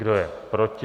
Kdo je proti?